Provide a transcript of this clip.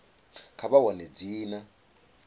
kha vha wane dzina a